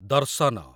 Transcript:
ଦର୍ଶନ